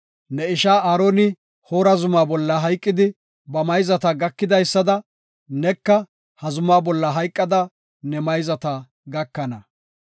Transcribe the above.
Ne ishaa Aaroni Hoora Zuma bolla hayqidi, ba mayzata gakidaysada neka ha zumaa bolla hayqada ne mayzata gakana.